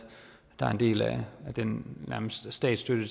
der er en del af den statsstøtte